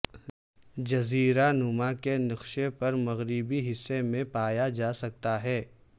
جزیرہ نما کے نقشے پر مغربی حصے میں پایا جا سکتا ہے